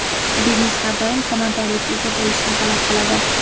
Biznes har doim samaradorlikka ega bo‘lishni talab qiladi.